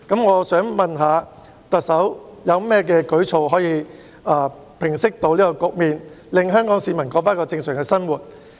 我想問特首有何舉措可以平息這局面，令香港市民可以重過正常生活？